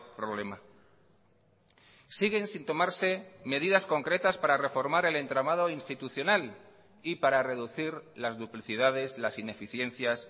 problema siguen sin tomarse medidas concretas para reformar el entramado institucional y para reducir las duplicidades las ineficiencias